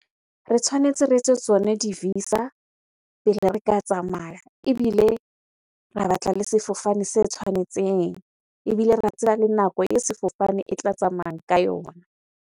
Re tshwanetse re etse tsone di-visa pele re ka tsamaya. Ebile ra batla le sefofane se tshwanetseng. Ebile ra tseba le nako e sefofane e tla tsamaya ka yona.